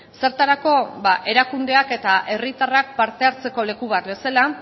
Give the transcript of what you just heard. zertarako ba erakundeak eta herritarrak parte hartzeko leku bat bezala